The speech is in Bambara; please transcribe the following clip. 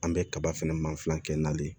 An bɛ kaba fɛnɛ man filanan de